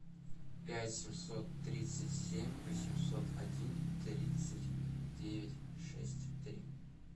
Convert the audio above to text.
пять семьсот тридцать семь восемьсот один тридцать девять шесть три